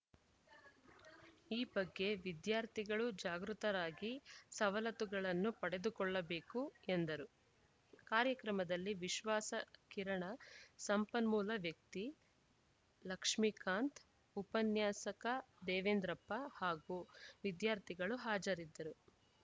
ಈ ಬಗ್ಗೆ ವಿದ್ಯಾರ್ಥಿಗಳು ಜಾಗೃತರಾಗಿ ಸವಲತ್ತುಗಳನ್ನು ಪಡೆದುಕೊಳ್ಳಬೇಕು ಎಂದರು ಕಾರ್ಯಕ್ರಮದಲ್ಲಿ ವಿಶ್ವಾಸ ಕಿರಣ ಸಂಪನ್ಮೂಲ ವ್ಯಕ್ತಿ ಲಕ್ಷ್ಮೀಕಾಂತ್‌ ಉಪನ್ಯಾಸಕ ದೇವೇಂದ್ರಪ್ಪ ಹಾಗೂ ವಿದ್ಯಾರ್ಥಿಗಳು ಹಾಜರಿದ್ದರು